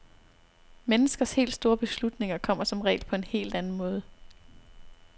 Menneskers helt store beslutninger kommer som regel på en helt anden måde.